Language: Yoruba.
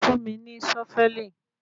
Fún mí ní Sọ́fẹ̀lì